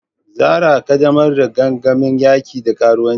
Zarah, ƙaddamar da gangamin yaki da karuwanci.